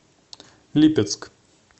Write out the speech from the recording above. липецк